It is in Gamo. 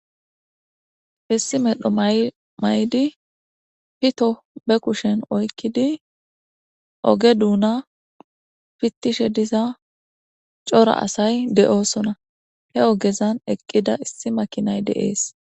Issi medho may7di pito be kushen oykkidi oge duuna fittishe diza cora asay de7oosona he ogezan eqqida issi makinay de7ees.